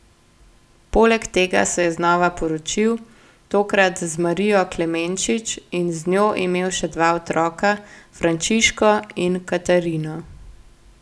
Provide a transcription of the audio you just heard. Poleg tega se je znova poročil, tokrat z Marijo Klemenčič, in z njo imel še dva otroka, Frančiško in Katarino.